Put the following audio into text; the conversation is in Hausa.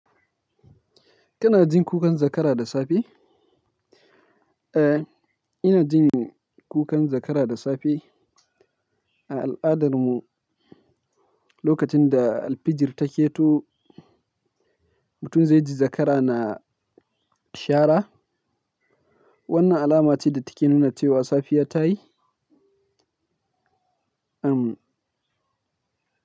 Kana jin kukan zakara da safe? Eh, ina jin kukan zakara da safe. A al'adarmu lokacin da alfijir taketo mutum zai ji zakara na shara. Wannan alama ce da take nuna cewa safiya ta yi.